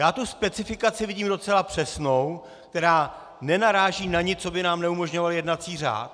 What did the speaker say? Já tu specifikaci vidím docela přesnou, která nenaráží na nic, co by nám neumožňoval jednací řád.